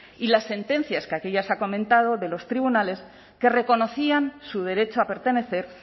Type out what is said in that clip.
y las sentencias que aquí ya se ha comentado de los tribunales que reconocían su derecho a pertenecer